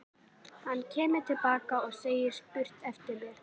Hann kemur til baka og segir spurt eftir mér.